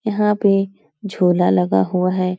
यहाँ पे झूला लगा हुआ है।